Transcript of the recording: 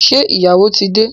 Ṣé ìyàwó tí dé?